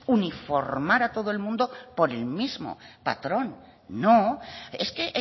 uniformar a todo el mundo por el mismo patrón no es que